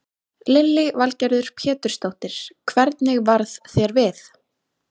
Lillý Valgerður Pétursdóttir: Hvernig varð þér við?